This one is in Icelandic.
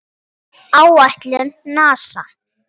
Áætlun NASA